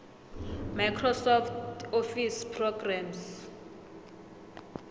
microsoft office programmes